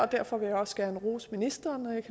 derfor vil jeg også gerne rose ministeren